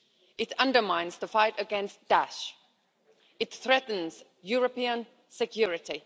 It undermines the fight against Daesh, it threatens European security.